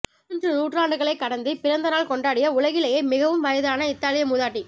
மூன்று நூற்றாண்டுகளை கடந்து பிறந்த நாள் கொண்டாடிய உலகிலேயே மிகவும் வயதான இத்தாலிய மூதாட்டி